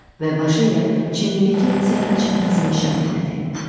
Və başı ilə çiynindəki səhra çantasına işarə elədi.